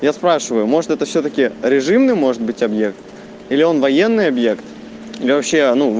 я спрашиваю может это все таки режимный может быть объект или он военный объект я вообще ну